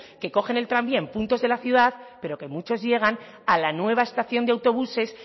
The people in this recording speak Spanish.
que cogen el tranvía en puntos de la ciudad pero que muchos llegan a la nueva estación de autobuses